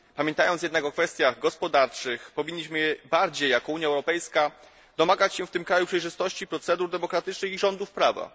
Pamiętając jednak o kwestiach gospodarczych powinniśmy bardziej jako Unia Europejska domagać się w tym kraju przejrzystości procedur demokratycznych i rządów prawa.